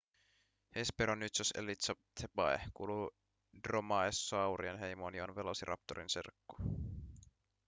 hesperonychus elizabethae kuuluu dromaeosaurien heimoon ja on velociraptorin serkku